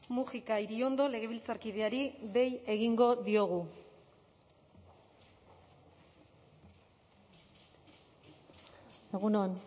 mujika iriondo legebiltzarkideari dei egingo diogu egun on